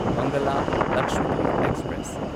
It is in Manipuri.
ꯃꯪꯒꯥꯂꯥ ꯂꯛꯁꯥꯗ꯭ꯋꯤꯞ ꯑꯦꯛꯁꯄ꯭ꯔꯦꯁ